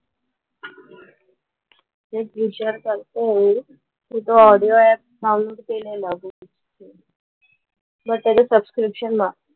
तेच विचार करतीये मी. तो audio app download केलेला मी. ब त्याचं subscription ना.